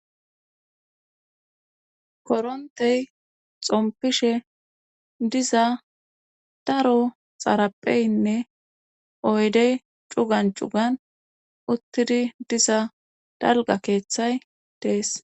korontey xompishe diza daro xarapheynne oydey cugan cugan uttidi diza dalga keeththay dees